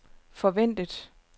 forventet